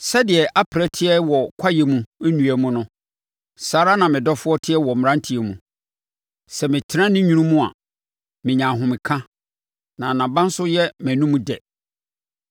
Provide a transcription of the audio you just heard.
Sɛdeɛ aprɛ teɛ wɔ kwaeɛ mu nnua mu no saa ara na me dɔfoɔ teɛ wɔ mmaranteɛ mu. Sɛ metena ne nwunu mu a, menya ahomeka na nʼaba nso yɛ mʼanom dɛ.